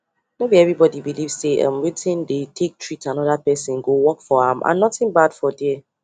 no be everybody belief say um wetin dey take treat another person go work for am and nothing bad for there